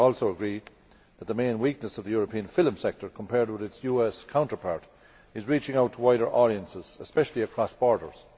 We also agree that the main weakness of the European film sector, compared with its US counterpart, is reaching out to wider audiences, especially across borders.